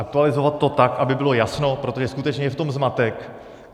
Aktualizovat to tak, aby bylo jasno, protože skutečně je v tom zmatek.